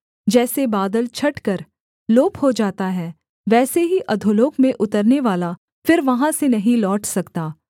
जैसे बादल छटकर लोप हो जाता है वैसे ही अधोलोक में उतरनेवाला फिर वहाँ से नहीं लौट सकता